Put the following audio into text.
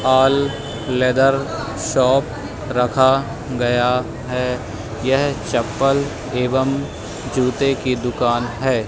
All leather shop रखा गया है। यह चप्पल एवं जूते की दुकान है।